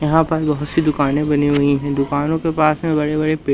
यहां पर बहोत सी दुकाने बनी हुई हैं दुकानों के पास में बड़े बड़े पे--